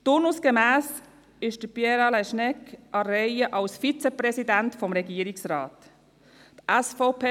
Turnusgemäss ist Pierre Alain Schnegg als Vizepräsident des Regierungsrats an der Reihe.